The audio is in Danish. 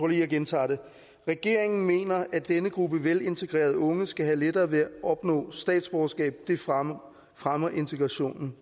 lige jeg gentager det regeringen mener at denne gruppe velintegrerede unge skal have lettere ved at opnå statsborgerskab det fremmer fremmer integrationen